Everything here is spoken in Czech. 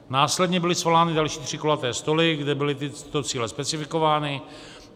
Následně byly svolány další tři kulaté stoly, kde byly tyto cíle specifikovány.